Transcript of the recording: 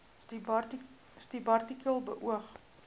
subartikel beoog